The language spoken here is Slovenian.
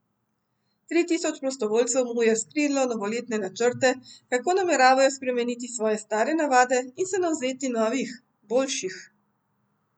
Tri tisoč prostovoljcev mu je razkrilo novoletne načrte, kako nameravajo spremeniti svoje stare navade in se navzeti novih, boljših.